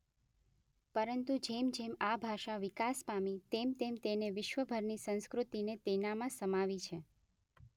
પરંતુ જેમજેમ આ ભાષા વિકાસ પામી તેમતેમ તેણે વિશ્વભરની સંસ્કૃતિને તેનામાં સમાવી છે.